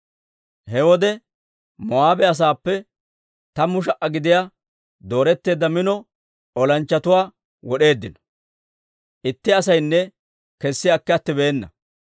He wode Moo'aabe asaappe tammu sha"a gidiyaa dooretteedda mino olanchchatuwaa wod'eeddino; itti asaynne kessi akki attibeena.